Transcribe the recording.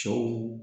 Cɛw